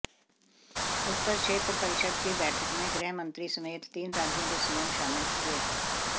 उत्तर क्षेत्र परिषद की बैठक में गृहमंत्री समेत तीन राज्यों के सीएम शामिल हुए